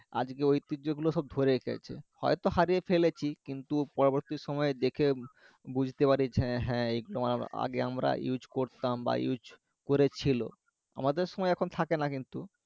আজকে ঐতিহ্যগুলো সব ধরে রেখেছে, হয়তো হারিয়ে ফেলেছি কিন্তু পরবর্তী সময়ে দেখে বুঝতে পারি যে হ্যাঁ হ্যাঁ এইগুলো আমরা আগে আমরা use করতাম বা use করেছিল। আমাদের সময় এখন থাকেনা কিন্তু